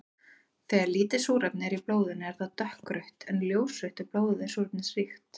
Þegar lítið súrefni er í blóðinu er það dökkrautt en ljósrautt ef blóðið er súrefnisríkt.